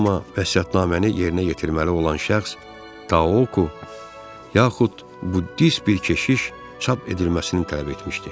Amma vəsiyyətnaməni yerinə yetirməli olan şəxs Takuku yaxud Buddist bir keşiş çap edilməsini tələb etmişdi.